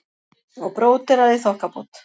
Og bróderað í þokkabót.